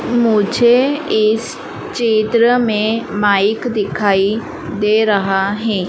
मुझे इस चित्र में माइक दिखाई दे रहा है।